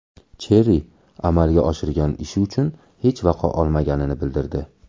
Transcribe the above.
Cherri amalga oshirgan ishi uchun hech vaqo olmaganini bildirdi.